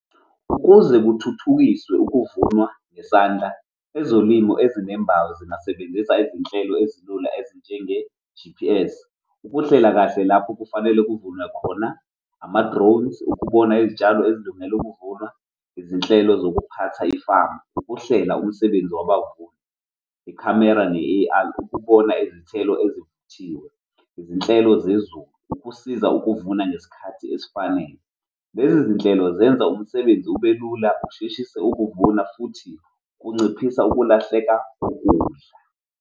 Ukuze kuthuthukiswe ukuvunwa nesandla ezolimo ezinembayo zingasebenzisa izinhlelo ezilula ezinjenge-G_P_S ukuhlela kahle lapho kufanele kuvulwe khona ama-drones, ukubona izitshalo ezilungele ukuvunwa, izinhlelo zokuphatha ifamu. Ukuhlela umsebenzi wabavuni ikhamera ne-A_R ukubona izithelo ezivuthiwe, izinhlelo zezulu, ukusiza ukuvuna ngesikhathi esifanele. Lezi zinhlelo zenza umsebenzi ubelula usheshise ukuvuna futhi kunciphisa ukulahleka kokudla.